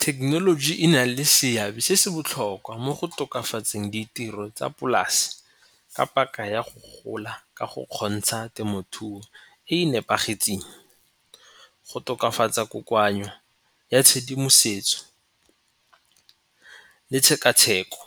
Thekenoloji e na le seabe se se botlhokwa mo go tokafatseng ditiro tsa polase ka paka ya go gola ka go kgontsha temothuo e e nepagetseng. Go tokafatsa kokoanyo ya tshedimosetso le tshekatsheko